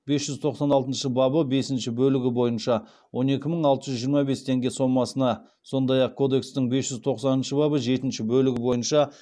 бес жүз тоқсан алтыншы бабы бесінші бөлігі бойынша он екі мың алты жүз жиырма бес теңге сомасына сондай ақ кодекстің бес жүз тоқсаныншы бабы жетінші бөлігі бойынша